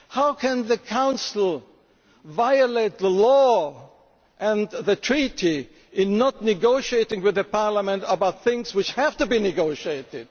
the agreement? How can the Council violate the law and the Treaty by not negotiating with Parliament about things which have to